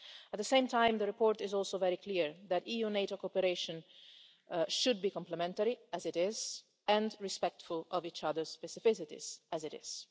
At the same time, the report is also very clear that EU-NATO cooperation should be complementary, as it is, and respectful of each other specificities, as it is.